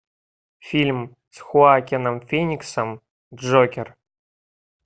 фильм с хоакином фениксом джокер